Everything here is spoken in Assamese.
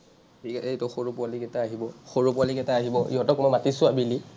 সৰু পোৱালিকেইটা আহিব, সৰু পোৱালিকেইটা আহিব। সিহঁতক মই মাতিছো আবেলি।